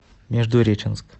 междуреченск